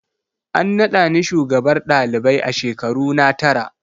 An nada ni shugabar ɗalibai a shekaruna tara.